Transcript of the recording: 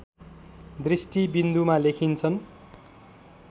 दृष्टिबिन्दुमा लेखिन्छन्